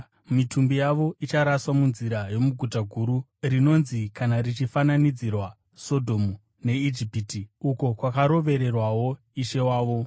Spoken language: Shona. Mitumbi yavo icharaswa munzira yomuguta guru, rinonzi kana richifananidzirwa, Sodhomu neIjipiti, uko kwakarovererwawo Ishe wavo.